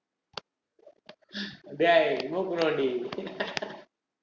டேய் மூக்கு நோண்டி